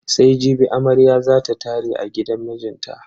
Sai jibi amarya za ta tare a gidan mijinta.